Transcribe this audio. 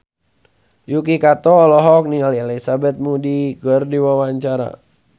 Yuki Kato olohok ningali Elizabeth Moody keur diwawancara